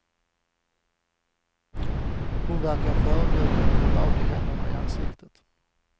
Hon verkade förödmjukad och begravde händerna i ansiktet.